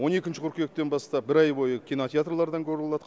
қыркүйектен бастап ай бойы кинотеатрлардан көруге болады